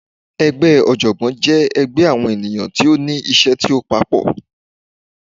Ẹgbẹ́ ọ̀jọ̀gbọ́n jẹ́ ẹgbẹ́ àwọn ènìyàn tí ó ní iṣẹ́ tí ó papọ̀.